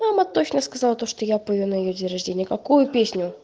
мама точно сказал то что я пою на её день рождения какую песню